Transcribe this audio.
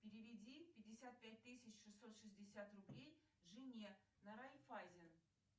переведи пятьдесят пять тысяч шестьсот шестьдесят рублей жене на райффайзен